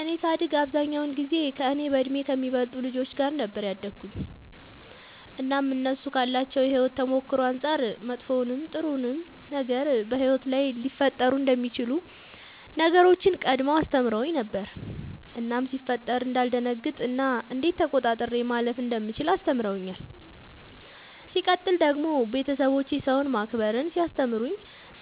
እኔ ሳድግ አብዛኛውን ጊዜ ከእኔ በእድሜ ከሚበልጡ ልጆች ጋር ነበር ያደግሁትኝ እናም እነሱ ካላቸው የሕይወት ተሞክሮ አንጻር መጥፎውንም ጥሩውንም ነገር በሕይወት ላይ ሊፈጠሩ የሚችሉ ነገሮችን ቀድመው አስተምረውኝ ነበር እናም ሲፈጠሩ እንዳልደነግጥ እና እንዴት ተቆጣጥሬ ማለፍ እንደምችል አስተምረውኛል። ሲቀጥል ደግሞ ቤተሰቦቼ ሰውን ማክበርን ሲያስተምሩኝ